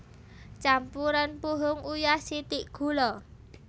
Campuren puhung uyah sithik gula